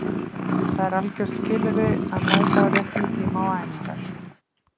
Það er algjört skilyrði að mæta á réttum tíma á æfingar